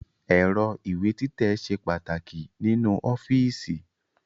Ẹ̀rọ ìwé títẹ̀ ṣe pàtàkì nínú ọ́fíìsì